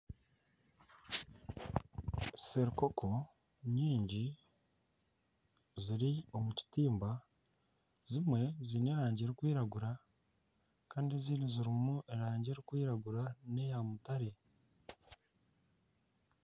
serikoko nyingi ziri omu kitimba, zimwe ziine erangi erikwiragura kandi ezindi zirimu erangi erikwiragura n'eya mutaare